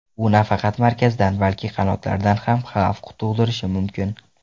U nafaqat markazdan, balki qanotlardan ham xavf tug‘dirishi mumkin.